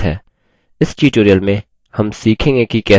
इस tutorial में हम सीखेंगे कि कैसे